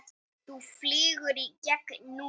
Þú flýgur í gegn núna!